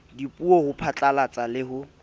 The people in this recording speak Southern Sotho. dipuo ho phatlalatsa le ho